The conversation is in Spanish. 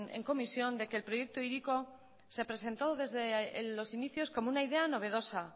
en comisión de que el proyecto hiriko se presentó desde los inicios como una idea novedosa